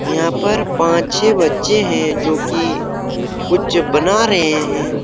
यहां पर पांच छे बच्चे है जो की कुछ बना रहे हैं।